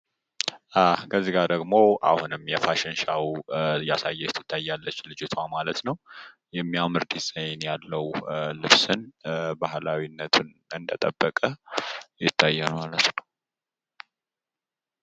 ከዚ ጋር ደሞ አሁንም የፋሽን ሾው እያሳየች ትታያለች ልጅትዋ ማለት ነው። የሚያምር ዲዛይን ያለው ልብስን ባህላዊነትን እንደጠበከ ይታያል ማለት ነው።